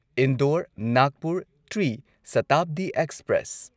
Indore Nagpur Tri Shatabdi express